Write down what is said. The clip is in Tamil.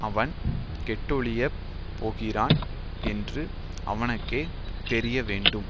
அவன் கெட்டொழியப் போகிறான் என்று அவனுக்கே தெரியவேண்டும்